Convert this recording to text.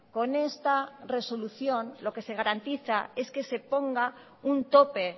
con esta resolución lo que se garantiza es que se ponga un tope